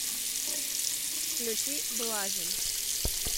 включи блажин